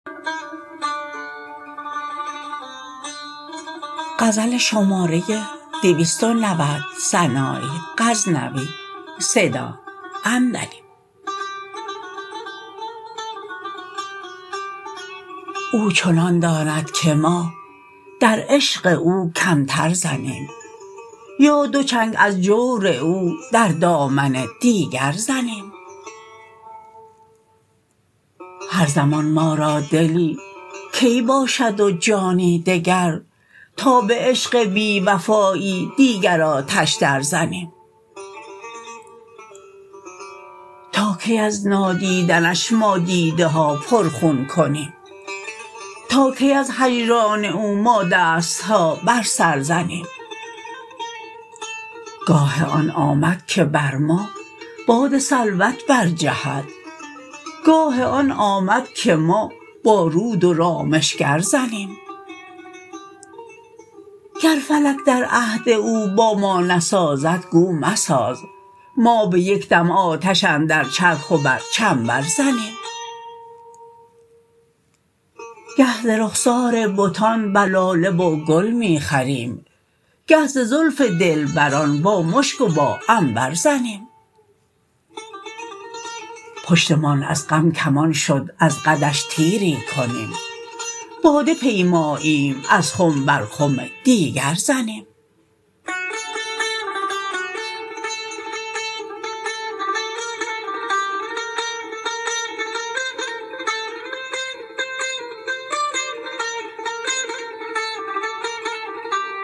او چنان داند که ما در عشق او کمتر زنیم یا دو چنگ از جور او در دامن دیگر زنیم هر زمان ما را دلی کی باشد و جانی دگر تا به عشق بی وفایی دیگر آتش در زنیم تا کی از نادیدنش ما دیده ها پر خون کنیم تا کی از هجران او ما دست ها بر سر زنیم گاه آن آمد که بر ما باد سلوت برجهد گاه آن آمد که ما با رود و رامشگر زنیم گر فلک در عهد او با ما نسازد گو مساز ما به یک دم آتش اندر چرخ و بر چنبر زنیم گه ز رخسار بتان بر لاله و گل می خوریم گه ز زلف دلبران با مشک و با عنبر زنیم پشتمان از غم کمان شد از قدش تیری کنیم باده پیماییم از خم بر خم دیگر زنیم